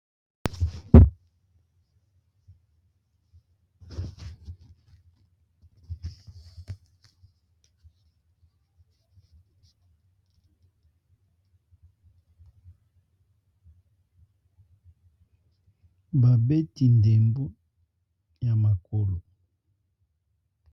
Babeti ndembo ya makolo.